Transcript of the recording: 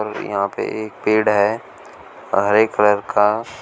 यहाँ पे एक पेड़ है हरे कलर का।